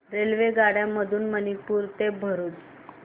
रेल्वेगाड्यां मधून मणीनगर ते भरुच